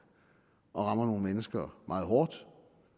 og rammer nogle mennesker meget hårdt